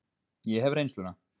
Ég hef reynsluna.